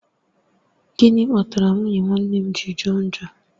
Gịnị kpatara nwunye nwanne m ji jọ njọ?